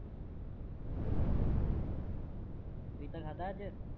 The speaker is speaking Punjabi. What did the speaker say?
ਪਪੀਤਾ ਖਾਂਦਾ ਅੱਜ